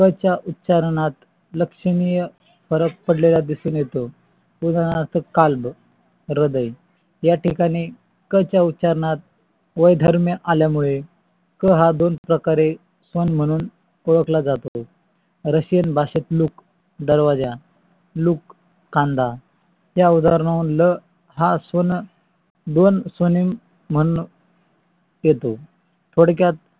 पण म्हणून ओळखा जातो. रशियन भाषेत लोक दरवाजा लोक कांदा या उदार्णावरून ल हा स्वनेम म्हणून येतो थोडक्यात